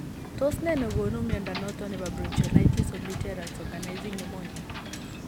Tos nee nogonu mnyondo noton nebo bronchiolitis obliterans organizing pneumonia ?